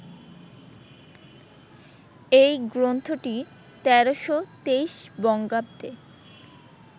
এই গ্রন্থটি ১৩২৩ বঙ্গাব্দে